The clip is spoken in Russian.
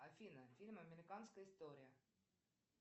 афина фильм американская история